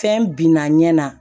Fɛn binna ɲɛ na